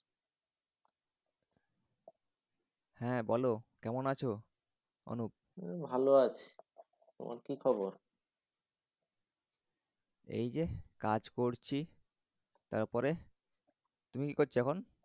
হা বোলো কেমন আছ? ভালো আছি। তোমার কি খবর? এই যে কাজ করছি। তার পরে? তুমি কী করছ এখন?